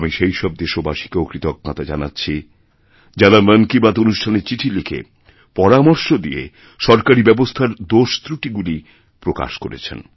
আমি সেই সবদেশবাসীকেও কৃতজ্ঞতা জানাচ্ছি যাঁরা মন কি বাত অনুষ্ঠানে চিঠি লিখে পরামর্শদিয়ে সরকারী ব্যবস্থার দোষত্রুটিগুলি প্রকাশ করেছেন